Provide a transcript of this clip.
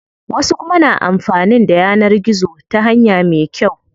Wasu kuma na amfanin da yanar gizo ta hanya me kyau.